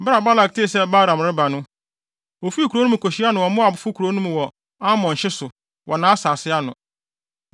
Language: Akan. Bere a Balak tee sɛ Balaam reba no, ofii kurow no mu kohyiaa no wɔ Moabfo kurow mu wɔ Arnon hye so, wɔ nʼasase ano.